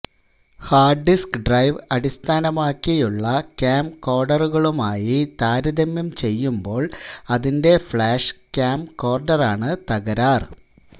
hard disk drive അടിസ്ഥാനമാക്കിയുള്ള ക്യാംകോഡറുകളുമായി താരതമ്യം ചെയ്യുമ്പോൾ അതിന്റെ ഫ്ലാഷ് ക്യാംകോർഡറാണ് തകരാർ